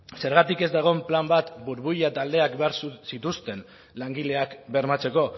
zergatik ez da egon plan bat burbuila taldeak behar zituzten langileak bermatzeko